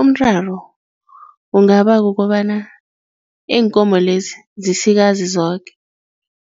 Umraro kungaba kukobana iinkomo-lezi zisikazi zoke,